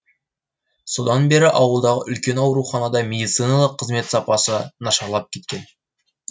содан бері ауылдағы үлкен ауруханада медициналық қызмет сапасы нашарлап кеткен